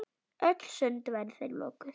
Öll sund væru þeim lokuð.